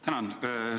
Tänan!